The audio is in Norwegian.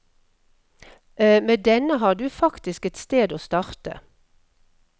Med denne har du faktisk et sted å starte.